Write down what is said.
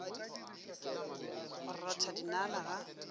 go rotha dinala ga a